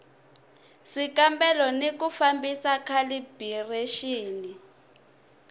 swikambelo ni ku fambisa khalibirexini